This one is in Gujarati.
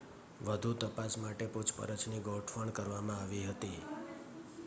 વધુ તપાસ માટે પૂછપરછની ગોઠવણ કરવામાં આવી હતી